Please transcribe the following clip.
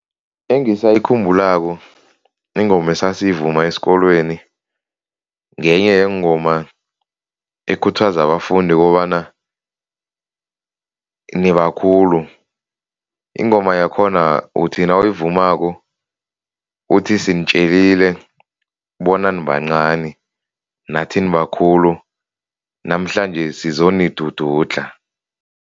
Engisayikhumbulako ingoma esayivuma esikolweni ngenye yeengoma ekhuthaza abafundi kobana nibakhulu. Ingoma yakhona uthi nawuyivumako uthi, sinitjelile bona nibancani nathi nibakhulu namhlanje sizonidududlha.